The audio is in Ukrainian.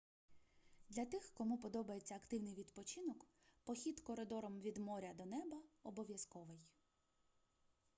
для тих кому подобається активний відпочинок похід коридором від моря до неба обов'язковий